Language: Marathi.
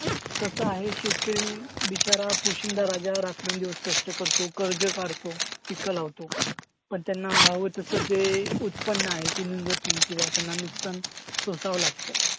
कसं आहे शेतकरी बिचारा, पोशिंदा राजा रात्रंदिवस कष्ट करतो. कर्ज काढतो, पिकं लावतो. पण त्यांना हवं तसं जे उत्पन्न आहे ते निघत नाही किंवा त्यांना नुकसान सोसावं लागतं.